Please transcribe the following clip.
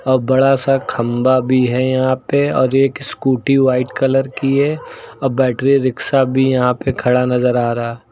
और बड़ा सा खंबा भी है यहां पे और एक स्कूटी व्हाइट कलर की है आ बैटरी रिक्शा भी यहां पे खड़ा नजर आ रहा--